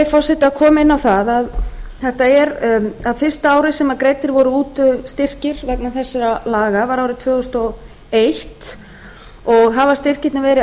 forseti koma inn á það að fyrsta árið sem greiddir voru út styrkir vegna þessara laga var árið tvö þúsund og eins og hafa styrkirnir verið